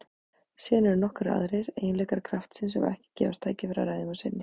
Síðan eru nokkrir aðrir eiginleikar kraftsins sem ekki gefst tækifæri að ræða um að sinni.